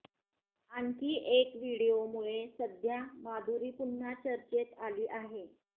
आणखी एक व्हिडीओमुळे सध्या माधुरी पुन्हा चर्चेत आली आहे